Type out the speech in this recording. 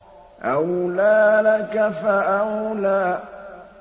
أَوْلَىٰ لَكَ فَأَوْلَىٰ